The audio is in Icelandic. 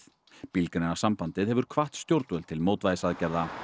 Bílgreinasambandið hefur hvatt stjórnvöld til mótvægisaðgerða